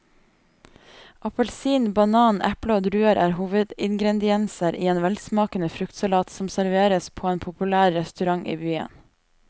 Appelsin, banan, eple og druer er hovedingredienser i en velsmakende fruktsalat som serveres på en populær restaurant i byen.